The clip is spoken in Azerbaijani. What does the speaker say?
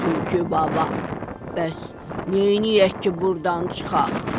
Tülkü baba, bəs neyləyək ki, burdan çıxaq?